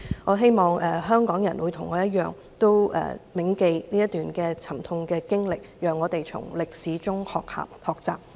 我希望香港人與我一樣，銘記這段沉痛的經歷，讓我們從歷史中學習。